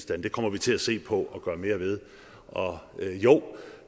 det kommer vi til at se på at gøre mere ved og jo